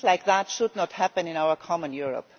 Things like that should not happen in our common Europe.